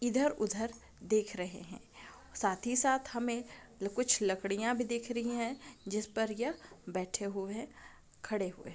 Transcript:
इधर उधर देख रहे हैं साथ ही साथ हमें कुछ लकड़ियां भी दिख रही है जिस पर यह बैठे हुए हैं खड़े हुए है |